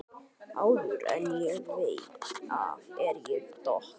Áður en ég veit af er ég dott